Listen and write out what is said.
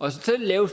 og så selv lave